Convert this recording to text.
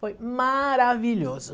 Foi maravilhoso.